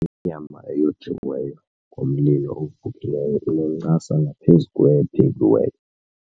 Inyama eyojiweyo ngomlilo ovukileyo inencasa ngaphezu kwephekiweyo.